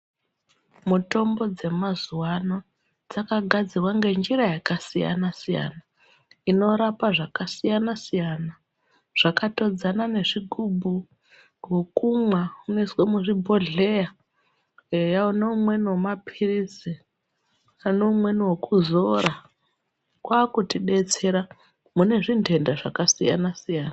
Mitombo dzemazuwa ano dzakagadzirwa ngenjira yakasiyana siyana. Inorapa zvakasiyana siyana. Zvakatodzana nezvigubhu, wokumwa unoiswa muzvibhondleya eya neumweni wemapirizi. Pane umweni wokuzora, kwakutidetsera mune zvinhenda zvakasiyana siyana.